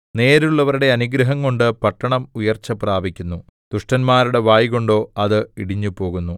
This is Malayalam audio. നേരുള്ളവരുടെ അനുഗ്രഹംകൊണ്ട് പട്ടണം ഉയർച്ച പ്രാപിക്കുന്നു ദുഷ്ടന്മാരുടെ വായ്കൊണ്ടോ അത് ഇടിഞ്ഞുപോകുന്നു